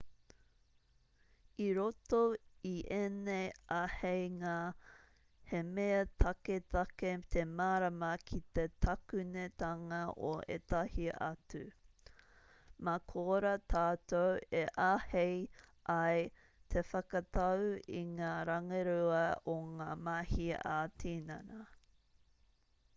i roto i ēnei āheinga he mea taketake te mārama ki te takunetanga o ētahi atu mā korā tātou e āhei ai te whakatau i ngā rangirua o ngā mahi ā-tinana